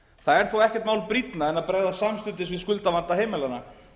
það er þó ekkert mál brýnna en að bregðast samstundis við skuldavanda heimilanna